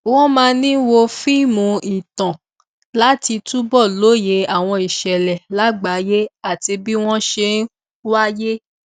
wọn máa ń wo fíìmù ìtàn láti túbọ lóye àwọn ìṣẹlẹ lágbàáyé àti bí wọn ṣe wáyé